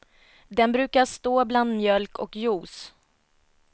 Den brukar stå bland mjölk och juice.